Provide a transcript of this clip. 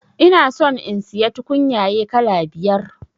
Ina son in siya tukunyaye kala biyar